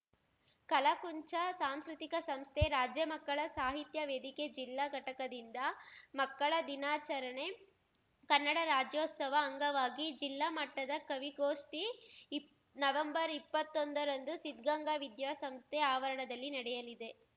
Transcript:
ಕಲಾಕುಂಚ ಸಾಂಸ್ಕೃತಿಕ ಸಂಸ್ಥೆ ರಾಜ್ಯ ಮಕ್ಕಳ ಸಾಹಿತ್ಯ ವೇದಿಕೆ ಜಿಲ್ಲಾ ಘಟಕದಿಂದ ಮಕ್ಕಳ ದಿನಾಚರಣೆ ಕನ್ನಡ ರಾಜ್ಯೋತ್ಸವ ಅಂಗವಾಗಿ ಜಿಲ್ಲಾ ಮಟ್ಟದ ಕವಿಗೋಷ್ಠಿ ಇಪ್ ನವೆಂಬರ್ಇಪ್ಪತ್ತೊಂದರಂದು ಸಿದ್ಗಂಗಾ ವಿದ್ಯಾಸಂಸ್ಥೆ ಆವರಣದಲ್ಲಿ ನಡೆಯಲಿದೆ